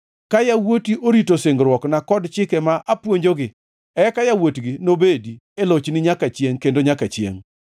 ka yawuoti orito singruokna kod chike ma apuonjogi, eka yawuotgi nobedi, e lochni nyaka chiengʼ kendo nyaka chiengʼ.”